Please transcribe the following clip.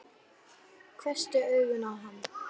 Hvessti augun á hann.